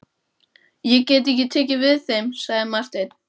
Ég get ekki tekið við þeim, sagði Marteinn.